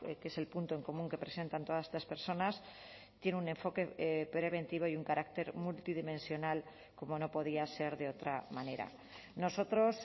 que es el punto en común que presentan todas estas personas tiene un enfoque preventivo y un carácter multidimensional como no podía ser de otra manera nosotros